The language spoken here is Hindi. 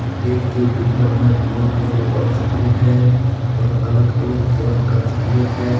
केक के ऊपर में गोल और चॉकलेट है और अलग अलग तरह का चॉकलेट है।